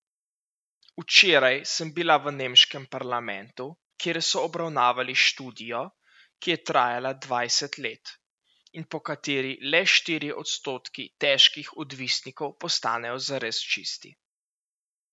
Včeraj sem bila v nemškem parlamentu, kjer so obravnavali študijo, ki je trajala dvajset let, in po kateri le štirje odstotki težkih odvisnikov postanejo zares čisti.